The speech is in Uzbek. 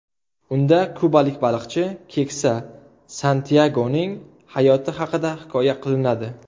Unda kubalik baliqchi, keksa Santyagoning hayoti haqida hikoya qilinadi.